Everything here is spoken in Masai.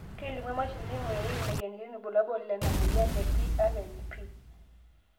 kelimu emashini naingurarieki imoyiaritin irbulabol lena moyian e PRNP